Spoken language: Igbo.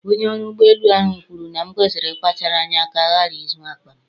Onye ọrụ ụgbọ elu ahụ kwuru na m kwesịrị ịkpachara anya ka a ghara izu akpa m